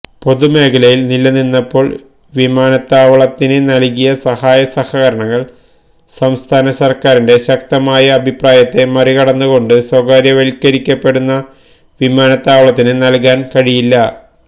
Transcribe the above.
പൊതുമേഖലയിൽ നിലനിന്നപ്പോൾ വിമാനത്താവളത്തിന് നൽകിയ സഹായ സഹകരണങ്ങൾ സംസ്ഥാന സർക്കാരിന്റെ ശക്തമായ അഭിപ്രായത്തെ മറികടന്നുകൊണ്ട് സ്വകാര്യവൽക്കരിക്കപ്പെടുന്ന വിമാനത്താവളത്തിന് നൽകാൻ കഴിയില്ല